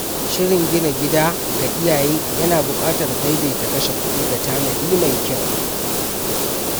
Shirin gina gida ga iyaye yana buƙatar daidaita kashe kudi da tanadi mai kyau.